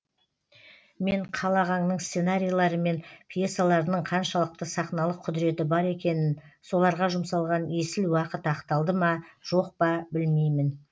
мен қал ағаңның сценарийлері мен пьесаларының қаншалықты сақналық құдіреті бар екенін соларға жұмсалған есіл уақыт ақталды ма жоқ па білмеймін